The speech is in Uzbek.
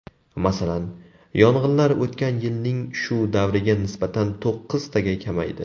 Masalan, yong‘inlar o‘tgan yilning shu davriga nisbatan to‘qqiztaga kamaydi.